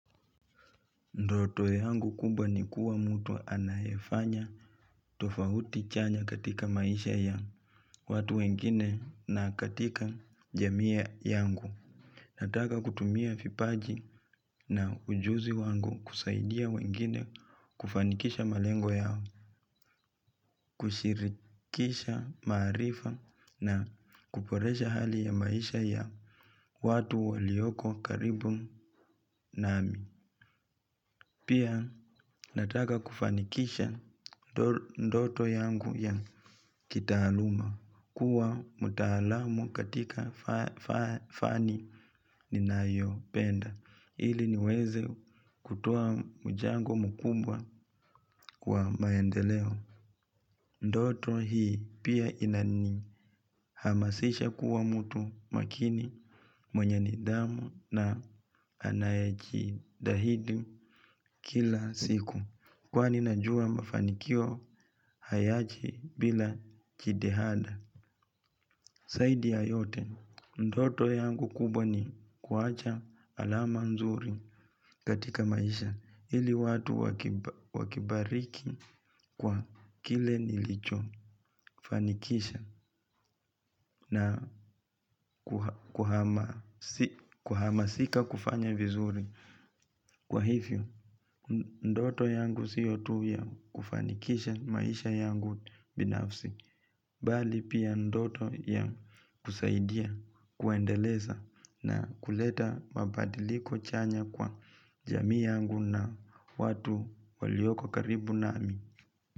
Ndoto yangu kubwa ni kuwa mtu anayefanya tofauti chanya katika maisha ya watu wengine na katika jamii yangu. Nataka kutumia vipaji na ujuzi wangu kusaidia wengine kufanikisha malengo yao, kushirikisha maarifa na kuboresha hali ya maisha ya watu walioko karibu nami. Pia nataka kufanikisha ndoto yangu ya kitaaluma kuwa mtaalamu katika fani ninayo penda ili niweze kutoa mchango mkumbwa kwa maendeleo. Ndoto hii pia inani hamasisha kuwa mtu makini mwenye nidhamu na anayejitahidi kila siku. Kwani najua mafanikio hayaji bila jitihada. Zaidi ya yote, ndoto yangu kubwa ni kuwacha alama nzuri katika maisha. Ili watu wakibariki kwa kile nilicho. Fanikisha na kuhama sika kufanya vizuri. Kwa hivyo, ndoto yangu siyo tu ya kufanikisha maisha yangu binafsi bali pia ndoto ya kusaidia, kuendeleza na kuleta mabadiliko chanya kwa jamii yangu na watu walioko karibu nami.